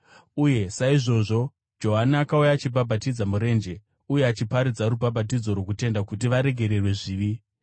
Uye saizvozvo Johani akauya, achibhabhatidza murenje uye achiparidza rubhabhatidzo rwokutendeuka kuti varegererwe zvivi.